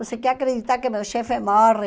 Você quer acreditar que meu chefe morre?